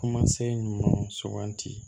Kumasen ɲuman suganti